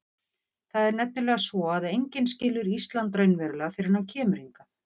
Það er nefnilega svo að enginn skilur Ísland raunverulega fyrr en hann kemur hingað.